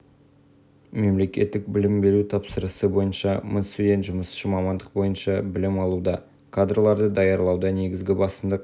павлодар облыстық білім беру басқармасы басшысының орынбасары саян мұқановтың айтуынша бүгінгі таңда колледж студенттері қатарында мың жас білім алуда олардың мыңы